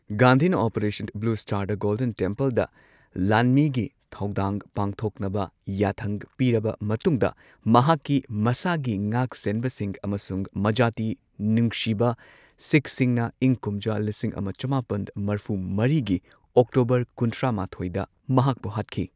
ꯒꯥꯟꯙꯤꯅ operation blue ꯁ꯭ꯇꯥꯔꯗ golden ꯇꯦꯝꯄꯜꯗ ꯂꯥꯟꯃꯤꯒꯤ ꯊꯧꯗꯥꯡ ꯄꯥꯡꯊꯣꯛꯅꯕ ꯌꯥꯊꯪ ꯄꯤꯔꯕ ꯃꯇꯨꯡꯗ ꯃꯍꯥꯛꯀꯤ ꯃꯁꯥꯒꯤ ꯉꯥꯛ ꯁꯦꯟꯕꯁꯤꯡ ꯑꯃꯁꯨꯡ ꯃꯖꯥꯇꯤ ꯅꯨꯡꯁꯤꯕ ꯁꯤꯈꯁꯤꯡꯅ ꯏꯪ ꯀꯨꯝꯖꯥ ꯂꯤꯁꯤꯡ ꯑꯃ ꯆꯃꯥꯄꯟ ꯃꯔꯐꯨ ꯃꯔꯤꯒꯤ ꯑꯣꯛꯇꯣꯕꯔ ꯀꯨꯟꯊ꯭ꯔꯥ ꯃꯥꯊꯣꯏꯗ ꯃꯍꯥꯛꯄꯨ ꯍꯥꯠꯈꯤ꯫